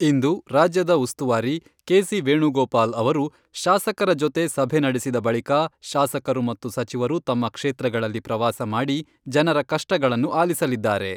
ಇಂದು ರಾಜ್ಯದ ಉಸ್ತುವಾರಿ ಕೆ.ಸಿ.ವೇಣುಗೋಪಾಲ್ ಅವರು ಶಾಸಕರ ಜೊತೆ ಸಭೆ ನಡೆಸಿದ ಬಳಿಕ ಶಾಸಕರು ಮತ್ತು ಸಚಿವರು ತಮ್ಮ ಕ್ಷೇತ್ರಗಳಲ್ಲಿ ಪ್ರವಾಸ ಮಾಡಿ ಜನರ ಕಷ್ಟಗಳನ್ನು ಆಲಿಸಲಿದ್ದಾರೆ.